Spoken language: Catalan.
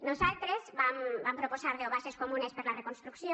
nosaltres vam proposar deu bases comunes per a la reconstrucció